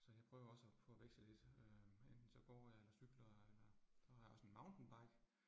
Så jeg prøver også på at veksle lidt øh, enten så går jeg eller cykler eller. Så har jeg også en mountainbike